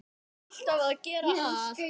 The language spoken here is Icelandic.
Þarf alltaf að gera allt.